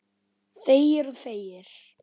Þegir og þegir.